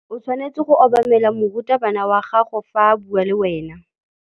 O tshwanetse go obamela morutabana wa gago fa a bua le wena.